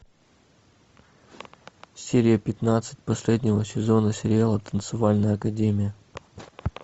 серия пятнадцать последнего сезона сериала танцевальная академия